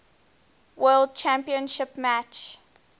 world championship match